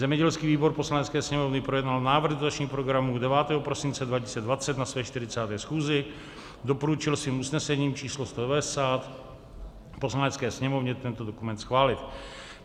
Zemědělský výbor Poslanecké sněmovny projednal návrh dotačních programů 9. prosince 2020 na své 40. schůzi, doporučil svým usnesením č. 190 Poslanecké sněmovně tento dokument schválit.